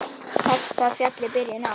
Telst það fjalli byrjun á.